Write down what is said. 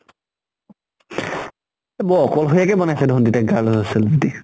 বৰ অকল্শৰীয়াকে বনাইছে দেখুন তেতিয়া girl's hostel যদি।